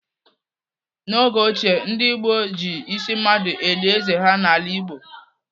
N'oge ochie ndị gboo ji ísí mmadụ eli êzé ha n'ala Igbo.